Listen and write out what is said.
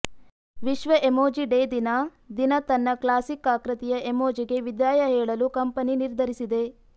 ವಿಶ್ವ emoji day ದಿನ ದಿನ ತನ್ನ ಕ್ಲಾಸಿಕ್ ಆಕೃತಿಯ ಎಮೋಜಿಗೆ ವಿದಾಯ ಹೇಳಲು ಕಂಪೆನಿ ನಿರ್ಧರಿಸಿದೆ